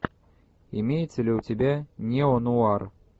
имеется ли у тебя неонуар